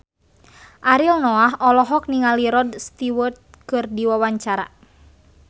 Ariel Noah olohok ningali Rod Stewart keur diwawancara